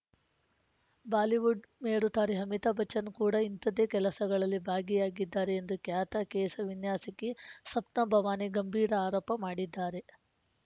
Bollywood ಮೇರುತಾರೆ ಅಮಿತಾಭ್‌ ಬಚ್ಚನ್‌ ಕೂಡಾ ಇಂಥದ್ದೇ ಕೆಲಸಗಳಲ್ಲಿ ಭಾಗಿಯಾಗಿದ್ದಾರೆ ಎಂದು ಖ್ಯಾತ ಕೇಸ ವಿನ್ಯಾಸಕಿ ಸಪ್ನಾ ಭವಾನಿ ಗಂಭೀರ ಆರೋಪ ಮಾಡಿದ್ದಾರೆ